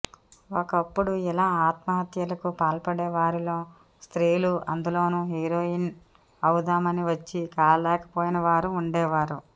ఒకప్పుడు ఇలా ఆత్మహత్యలకు పాల్పడే వారిలో స్త్రీలూ అందులోనూ హీరోయిన్ అవుదామని వచ్చి కాలేకపోయిన వారూ ఉండేవారు